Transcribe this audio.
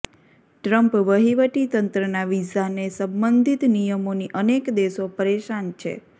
Trump વહીવટીતંત્રના વિઝાને સંબંધિત નિયમોથી અનેક દેશો પરેશાન છે